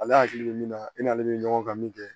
Ale hakili bɛ min na e n'ale bɛ ɲɔgɔn kan min kɛ